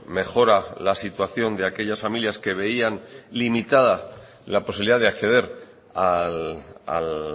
mejora la situación de aquellas familias que veían limitada la posibilidad de acceder al